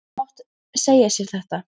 En hún hefði svo sem mátt segja sér þetta.